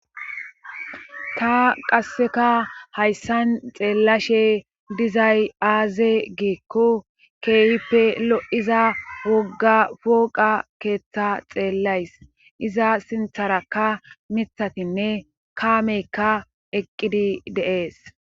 ta qasseka hayssan xeellashe dizay aaze geekko keeyippe lo7iza wogga foqa keeththa xeellays iza sintharakka mithatinne kaameykka eqqidi de7ees